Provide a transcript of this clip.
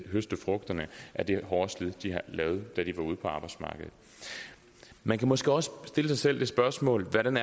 høste frugterne af det hårde slid de har lavet da de var ude på arbejdsmarkedet man kan måske også stille sig selv det spørgsmål hvordan